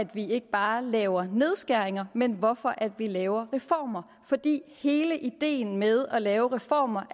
vi ikke bare laver nedskæringer men hvorfor vi laver reformer fordi hele ideen med at lave reformer